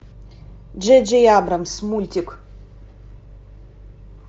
джей джей абрамс мультик